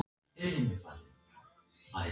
Og Lóa-Lóa fékk vatn í munninn.